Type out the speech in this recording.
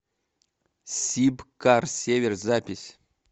сибкар север запись